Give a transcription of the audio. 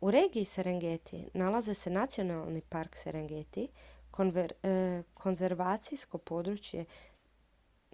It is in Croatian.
u regiji serengeti nalazi se nacionalni park serengeti konzervacijsko područje